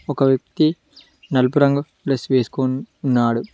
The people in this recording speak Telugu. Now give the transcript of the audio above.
ఒక వ్యక్తి నలుపు రంగు ప్లస్ వేసుకోన్ ఉన్నాడు.